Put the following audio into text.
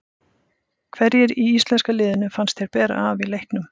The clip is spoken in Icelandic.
Hverjir í íslenska liðinu fannst þér bera af í leiknum?